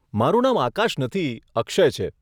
મારું નામ આકાશ નથી, અક્ષય છે.